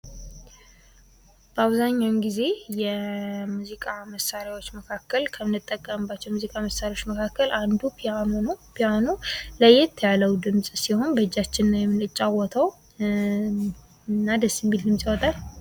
በአብዛኛው ከሙዚቃ መሳሪያዎች መካከል ፒያኖ ነው ።ይህ መሳሪያ ደስ የሚል ድምፅ ያወጣል።